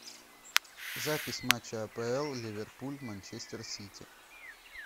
запись матча апл ливерпуль манчестер сити